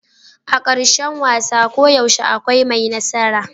A karshen wasa koyaushe akwai mai nasara.